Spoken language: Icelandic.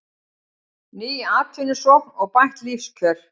Ný atvinnusókn og bætt lífskjör